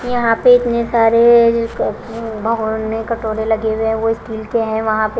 यहां पे इतने सारे में कटोरे लगे हुए हैं वो स्टील के हैं वहां पे--